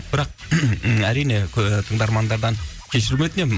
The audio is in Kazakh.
бірақ әрине тыңдармандардан кешірім өтінемін